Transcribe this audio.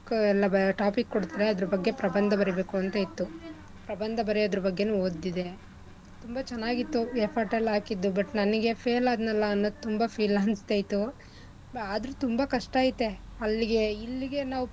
ಎಲ್ಲಾ topic ಕೊಡ್ತಾರೆ ಅದ್ರ ಬಗ್ಗೆ ಪ್ರಬಂಧ ಬರಿಬೇಕು ಅಂತ ಇತ್ತು ಪ್ರಬಂಧ ಬರ್ಯೋದ್ರ್ ಬಗ್ಗೆನು ಓದ್ತಿದ್ದೆ. ತುಂಬಾ ಚೆನ್ನಾಗ್ ಇತ್ತು effort ಎಲ್ಲಾ ಹಾಕಿದ್ದು but ನನಿಗೆ fail ಆದ್ನಲ್ಲ ಅನ್ನೋದ್ ತುಂಬಾ feel ಅನ್ಸ್ತಿತ್ತು . ಆದ್ರೂ ತುಂಬಾ ಕಷ್ಟ ಐತೆ ಅಲ್ಲಿಗೆ ಇಲ್ಲಿಗೆ ನಾವ್,